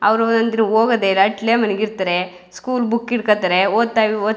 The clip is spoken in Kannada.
ಅವ್ರು ಅಂದ್ರೆ ಹೋಗೋದೇ ರಾಟ್ಲೇ ಮನಗಿರ್ತಾರೆ ಸ್ಕೂಲ್ ಬುಕ್ ಹಿಡ್ಕೋತಾರೆ ಒದ್ತಾಯ್ವಿ ಓದ್ --